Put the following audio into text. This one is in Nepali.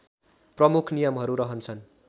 प्रमुख नियमहरू रहन्छन्